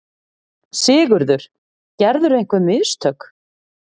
SIGURÐUR: Gerðirðu einhver mistök?